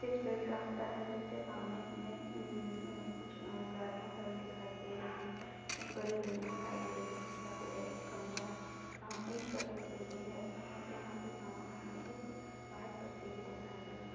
इसमें एक रास्ता है जिसके सामने हमे उम-उम- कुछ अ गाड़ियाँ खड़ी दिखाई दे रही है| एक बड़ी बिल्डिंग दिखाई दे रही है एक सुखा पेड़ है एक खंभा है| यहाँ एक सफेद बिल्डिंग है| यहाँ पे सामने मे एक व्हाइट पट्टी भी दिखाई दे रही है।